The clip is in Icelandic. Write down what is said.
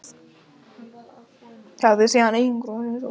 Það er síðan einangrað og hreinsað.